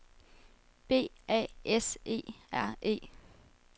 B A S E R E